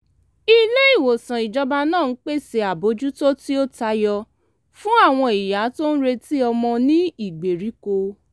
ilé-ìwòsàn ìjọba náà ń pèsè àbójútó tí ó tayọ fún àwọn ìyá tó ń retí ọmọ ní ìgbèríko